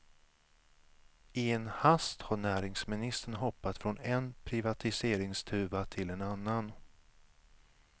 I en hast har näringsministern hoppat från en privatiseringstuva till en annan.